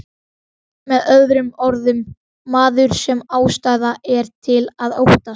Með öðrum orðum, maður sem ástæða er til að óttast.